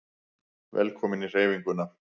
Velkomin í Hreyfinguna